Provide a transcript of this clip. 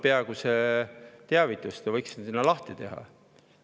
Peaaegu iga nädal tuleb teavitus, te võiksite selle lahti teha.